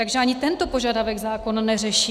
Takže ani tento požadavek zákon neřeší.